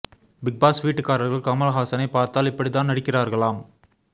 big Boss வீட்டுக்காரர்கள் கமல் ஹாஸனை பார்த்தால் இப்படி தான் நடிக்கிறார்களாம்